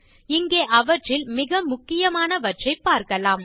இங்கே அவற்றில் மிக முக்கியமாவற்றைப் பார்க்கலாம்